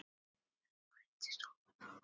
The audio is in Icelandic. Það bætist ofan á.